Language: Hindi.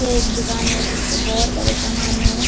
ये एक दुकान है जिसमें बहुत सारे समान है।